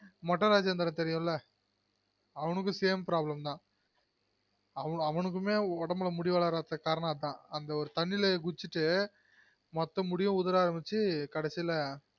மொட்ட ராஜெந்திரன் தெரியும்ல அவருகும் same problem தான் அவருக்குமே உடம்புல முடி வளராததுக்கு காரணம் அதான் அந்த ஒரு தண்ணில குதிச்சுட்டு மொத்த முடியும் உதுர அரம்பிச்சு கடைசில